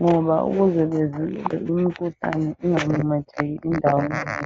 ngoba ukuze bavikele imikhuhlane ingamemetheki indawana yonke.